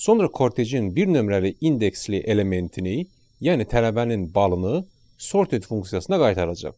Sonra kortejin bir nömrəli indeksli elementini, yəni tələbənin balını sorted funksiyasına qaytaracaq.